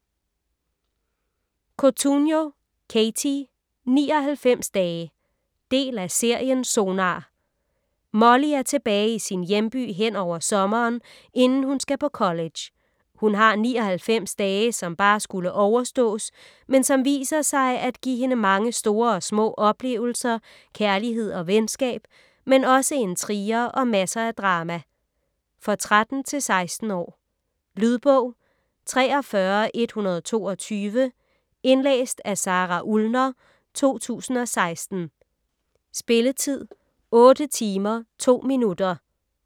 Cotugno, Katie: 99 dage Del af serien Sonar. Molly er tilbage i sin hjemby henover sommeren, inden hun skal på college. Hun har 99 dage som bare skulle overstås, men som viser sig at give hende mange store og små oplevelser, kærlighed og venskab, men også intriger og masser af drama. For 13-16 år. Lydbog 43122 Indlæst af Sara Ullner, 2016. Spilletid: 8 timer, 2 minutter.